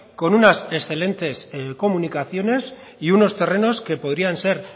con unas excelentes comunicaciones y unos terrenos que podrían ser